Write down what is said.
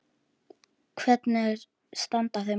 Hvernig standa þau mál?